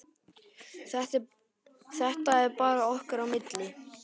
Þetta er bara okkar á milli.